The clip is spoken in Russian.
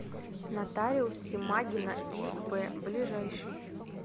нотариус симагина ив ближайший